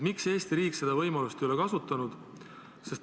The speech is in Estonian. Miks Eesti riik seda võimalust ei ole kasutanud?